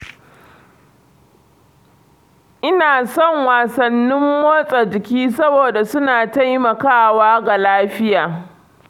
Ina son wasannin motsa jiki saboda su na taimaka wa ga lafiya.